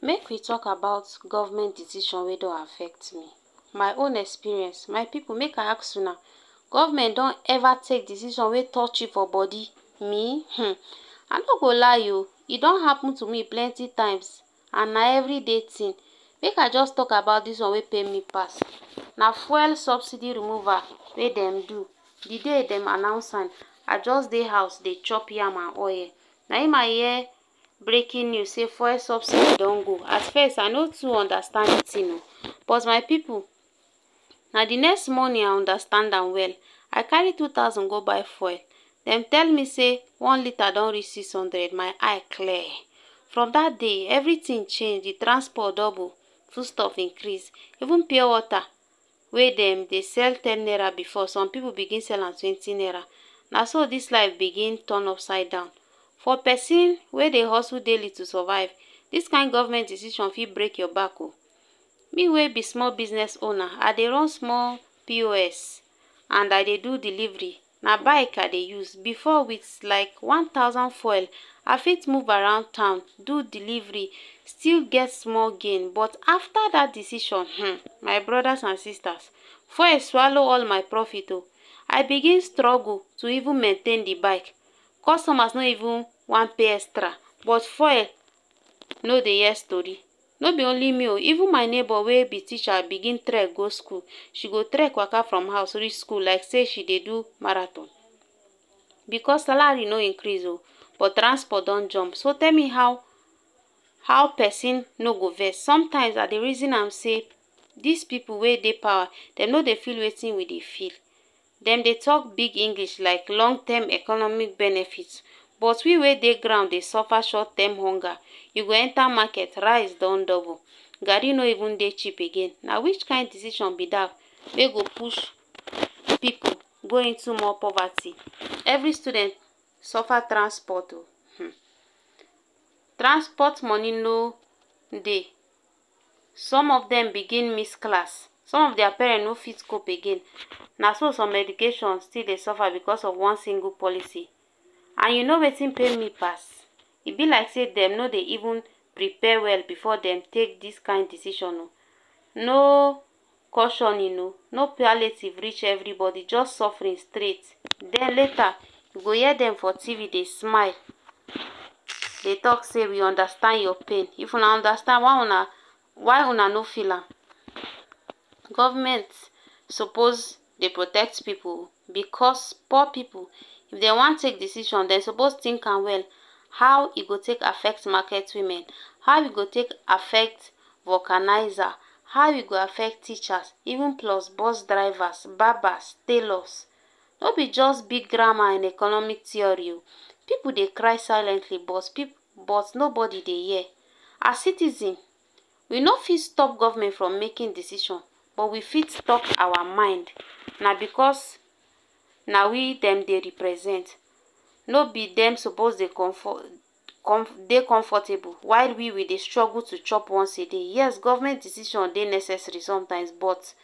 Make we talk about govment decision wey don affect me, my own experience, my pipu make I ask una, government don eva take decision wey touch you for bodi? Me um I no go lie um, e don happen to me plenty times and na everi day tin, make I just talk about dis one wey pain me pas, na fuel subsidy removal wey dem do, di day dem announce am, I just dey house dey chop yam and oye, na im I hear breaking news say fuel subsidy don go. At first I no too undastand the tin um but my pipu, na the next morning I undastand am well. I kari two thousand go buy fuel, dem tell me say one litre don reach six hundred, my eye clear, from dat day everi tin change, the transport double, fud stuff increase even pure wota wey dem dey sell ten naira, som pipu bigin dey sell am twenty naira. Na so dis life bigin ton upside down. For pesin wey dey hustle daily to sovive, dis kind of govment decision fit break your back um you wey be small business owner and I dey run small POS, and I dey do deliveri na bike I dey use. Before with like one thousand fuel, I fit move around town, do deliveri, still get small gain but afta dat decision um my brodas and sistas fuel swalow all my profit um I bigin struggle to even maintain the bike, customers no even wan pay extra, but fuel no dey hear stori. No be only me um even my nebor wey be teacher bigin trek go skul. She go trek waka from house reach skul like say she dey do marathion.because Salari no increase um but transport don jump so tell me how how pesin no go vex. Somtimes I dey reason am say dis pipu wey dey pawa dem no dey feel wetin we dey feel, dem dey tok big English like long term economic benefit but we wey dey ground dey sofa short term honga. You go enta maket, rice don double, gari no even dey cheap again which kind decision be dat wey go push pipu go into more povati. Everi student sofa transpot um transpot moni no dey, some of dem begin miss class, some of dia parent no fit cope again, na so some education still dey sofa because of one singul policy and you no wetin dey pain me pass, e be like sey dem no dey even prepare well before dem take dis kind decision. No cautioning um no palliative reach everibodi just sofferin straight. Den later, you go hear dem for TV dey smile dey talk sey we dey undastand your pain; if una ondastand why una why una no feel am Govment sopos dey protect pipu because poor pipu if dey wan take decision dey sopos tink am well. How e go take affect maket women How e go take affect vocaniza? How e go affect teacher, even plus bus drivas, barbas, tailors. No be just big drama and economic teori um pipu dey cry siliently but pi but no body dey hear, as citizen, we no fit stop govment from making decision but we fit stop our mind. na because na we dem dey represent no be dem sopos dey comfor com dey comfortable, while we, we dey strugle to chop once a day. Yes, govment decision dey necessary sometimes but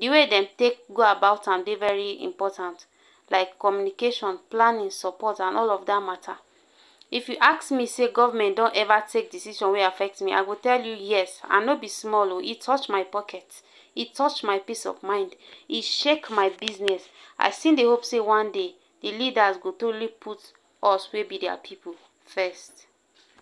th way dem take go about am dey veri important, like communication, planin, sopot and all oda mata. If you ask me sey government don take decision wey touch me; I go say yes and no be small um e touch my poket, e touch my peace of mind, e shake my biznes, I still dey hope say one day the lidas go truli put us wey be dia pipu first.